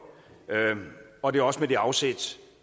og det er også med det afsæt